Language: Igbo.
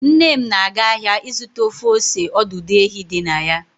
Nnem na aga ahịa ịzụta ofe ose ọdụdụ ehi dị na ya